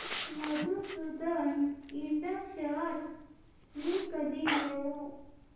मधुसूदन इंड शेअर्स मी कधी घेऊ